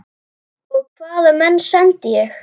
Og hvaða menn sendi ég?